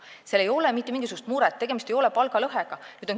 Seal ei ole mitte mingisugust muret, tegemist ei ole palgalõhega.